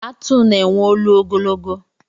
Atụ na-enwe olu ogologo.